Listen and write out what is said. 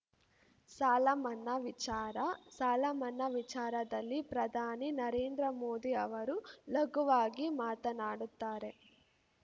ಸಾಲಮನ್ನಾ ವಿಚಾರ ಸಾಲಮನ್ನಾ ವಿಚಾರದಲ್ಲಿ ಪ್ರಧಾನಿ ನರೇಂದ್ರ ಮೋದಿ ಅವರು ಲಘುವಾಗಿ ಮಾತನಾಡುತ್ತಾರೆ